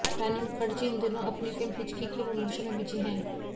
रानी मुखर्जी इन दिनों अपनी फिल्म हिचकी के प्रमोशन में बिजी हैं